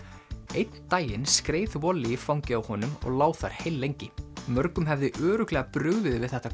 einn daginn skreið í fangið á honum og lá þar heillengi mörgum hefði örugglega brugðið við þetta